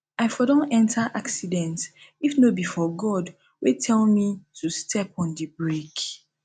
i for don enter accident if no be for god wey tell me to step on the brake